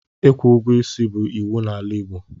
Ịkwụ ụgwọ isi bụ iwu n'ala Igbo.